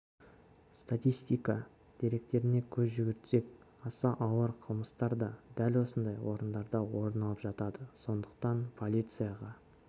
статистика деректеріне көз жүгіртсек аса ауыр қылмыстар да дәл осындай орындарда орын алып жатады сондықтан полицияға